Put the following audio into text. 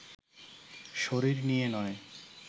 শরীর নিয়ে নয়